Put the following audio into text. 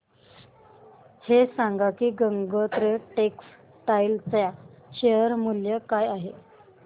हे सांगा की गंगोत्री टेक्स्टाइल च्या शेअर चे मूल्य काय आहे